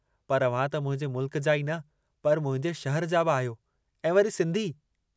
पर अव्हां त मुंहिंजे मुल्क जा ई न पर मुंहिंजे शहर जा बि आहियो ऐं वरी सिन्धी।